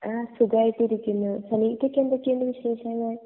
അഹ് സുഗെയിറ്റ് ഇരിക്കുന്നു സുനികക്ക് എന്തൊക്കെ ഉണ്ട് വിശേഷങ്ങൾ